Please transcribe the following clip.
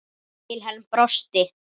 Vilhelm brosti.